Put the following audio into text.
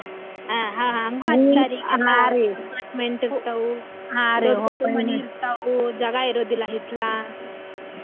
ಹಾ ಹಾ ಹಂಗು ಹಚ್ಚತಾರಿ apartment ಇರ್ತಾವು ದೊಡ್ಡು ದೊಡ್ಡು ಮನಿ ಇರ್ತಾವು ಜಗಾ ಇರುದಿಲ್ಲಾ ಹಿತ್ಲಾ.